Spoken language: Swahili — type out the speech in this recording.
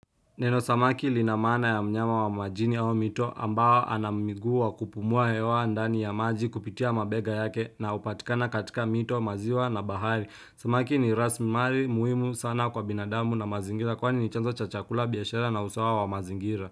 Neno samaki lina maana ya mnyama wa majini au mito ambao ana miguu wa kupumua hewa ndani ya maji kupitia mabega yake na hupatikana katika mito maziwa na bahari samaki ni rasilimali muhimu sana kwa binadamu na mazingira kwani ni chanzo cha chakula biashara na usawa wa mazingira.